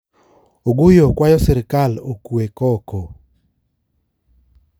Oguyo kwayo sirikal okwe koko